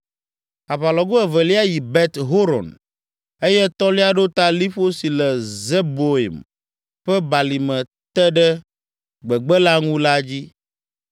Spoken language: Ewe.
aʋalɔgo evelia yi Bet Horon eye etɔ̃lia ɖo ta liƒo si le Zeboim ƒe balime te ɖe gbegbe la ŋu la dzi.